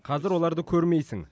қазір оларды көрмейсің